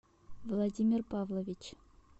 владимир павлович